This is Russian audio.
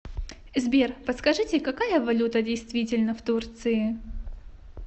сбер подскажите какая валюта действительна в турции